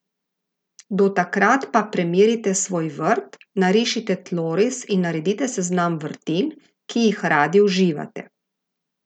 Do takrat pa premerite svoj vrt, narišite tloris in naredite seznam vrtnin, ki jih radi uživate!